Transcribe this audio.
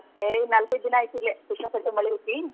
ಹೇ ನಾಲ್ಕೈದ್ ದಿನಾ ಆಯಿತಿಲ್ಲೆ ಸಿಕ್ಕಾಪಟ್ಟೆ ಮಳಿ ಐತಿ.